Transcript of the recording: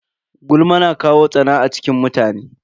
Gulma na kawo tsana a cikin mutane.